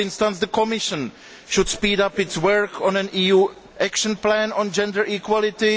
For instance, the Commission should speed up its work on an EU action plan on gender equality.